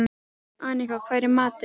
Annika, hvað er í matinn?